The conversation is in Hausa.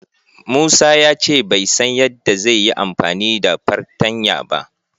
Musa ya ce bai san yadda zai yi amfani da fartanya ba.